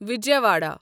Vijayawada